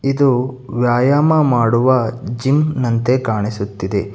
ಇದು ವ್ಯಯಾಮ ಮಾಡುವ ಜಿಮ್ ನಂತೆ ಕಾಣಿಸುತ್ತಿದೆ.